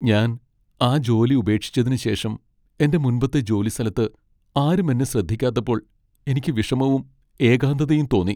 ഞാൻ ആ ജോലി ഉപേക്ഷിച്ചതിനുശേഷം എന്റെ മുൻപത്തെ ജോലിസ്ഥലത്ത് ആരും എന്നെ ശ്രദ്ധിക്കാത്തപ്പോൾ എനിക്ക് വിഷമവും ഏകാന്തതയും തോന്നി.